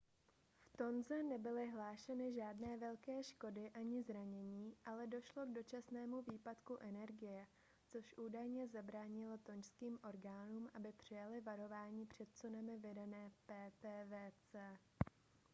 v tonze nebyly hlášeny žádné velké škody ani zranění ale došlo k dočasnému výpadku energie což údajně zabránilo tonžským orgánům aby přijaly varování před tsunami vydané ptwc